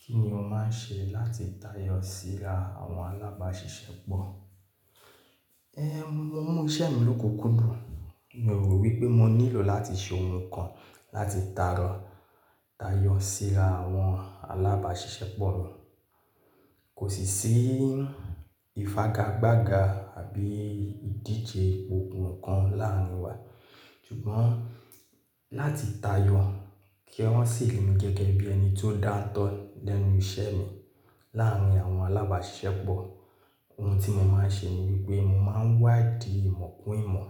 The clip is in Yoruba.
Kí ni o máa ń ṣe láti tayọ sí a àwọn alábàáṣiṣẹ́pọ̀? Ẹ́, mo mú iṣẹ́ mi lóku kùdùn. Mo rò wí pé mo nílò láti ṣe ohun kan láti tàrọ́ tayọ síra àwọn alábàáṣiṣẹ́pọ̀ mi. Kò sì sí ìfagagbága àbí ìdíje gbogbo nǹkan láàrin wa. Ṣùgbọ́n láti tayọ kí wọ́n sì rí mi gẹ́gẹ́ bí ẹni tó dáńtọ́ lẹ́nu iṣẹ́ mi láàrin àwọn alábàáṣiṣẹ́pọ̀, ohun tí mo máa ń ṣe ni wípé mo máa ń wádìí ìmọ̀ kún ìmọ̀